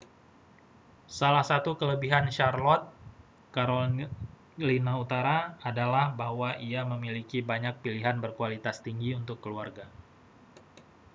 salah satu kelebihan charlotte carolina utara adalah bahwa ia memiliki banyak pilihan berkualitas tinggi untuk keluarga